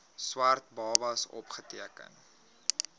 swart babas opgeteken